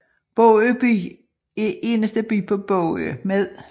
Bogø By er eneste by på Bogø med